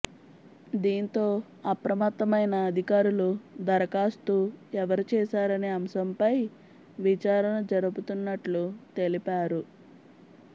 దీంతో అప్రమత్తమైన అధికారులు దరఖాస్తు ఎవరు చేశారనే అంశంపై విచారణ జరుపుతున్నట్లు తెలిపారు